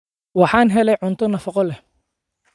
Waxaan helay cunto nafaqo leh.